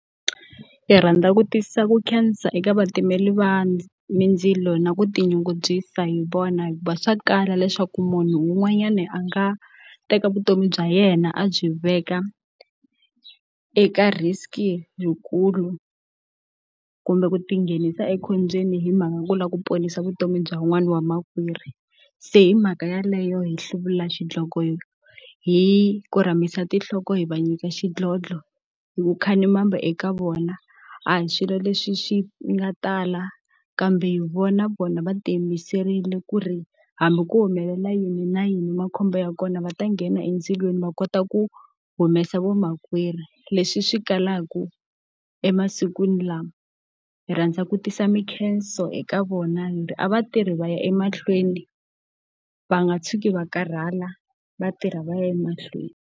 Ndzi rhandza ku tiyisisa ku khensa eka vatimeli va mindzilo na ku tinyungubyisa hi vona hikuva swa kala leswaku munhu un'wanyana a nga teka vutomi bya yena a byi veka eka risk-i yikulu, kumbe ku tinghenisa ekhombyeni hi mhaka ku lava ku ponisa vutomi bya un'wana wa makwerhu. Se hi mhaka yaleyo hi hluvula xidloko hi hi korhamisa tinhloko hi va nyika xidlodlo, hi ku khalimamba eka vona. A hi swilo leswi swi nga tala kambe, hi vona vona va tiyimiserile ku ri hambi ku humelela yini na yini makhombo ya kona va ta nghena endzilweni va kota ku humesa vo makwerhu, leswi swi kalaka emasikwini lawa. Hi rhandza ku tisa minkhenso eka vona, hi ri a va tirhi va ya emahlweni, va nga tshuki va karhala va tirha va ya emahlweni.